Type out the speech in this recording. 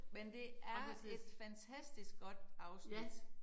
Men det er et fantastisk godt afsnit